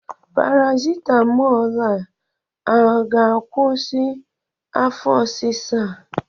Parasitamọl a ọ ga-akwụsị afọ ọsisa a?